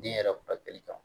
Den yɛrɛ furakɛli kan